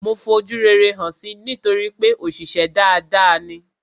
Mo fojú rere hàn si nítorípé òṣìṣę dada ni.